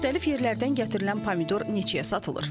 Müxtəlif yerlərdən gətirilən pomidor neçəyə satılır?